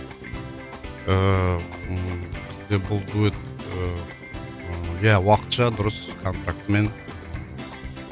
ыыы бізде бұл дуэт ыыы иә уақытша дұрыс контрактімен